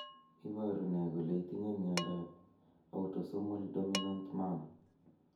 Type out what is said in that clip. Iporu ne kole itinye miondap autosomal dominant manner.